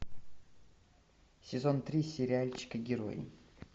сезон три сериальчика герои